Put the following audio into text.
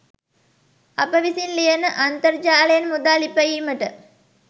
අප විසින් ලියන අන්තරජාලයෙන් මුදල් ඉපයීමට